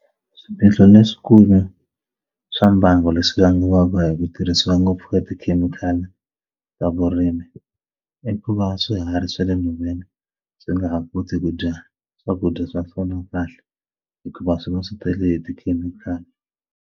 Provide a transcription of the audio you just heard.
Swiphiqo leswikulu swa mbangu leswi vangiwaka hi ku tirhisiwa ngopfu ka tikhemikhali ta vurimi i ku va swiharhi swa le nhoveni swi nga ha koti ku dya swakudya swa swona kahle hikuva swi va swi tele hi tikhemikhali.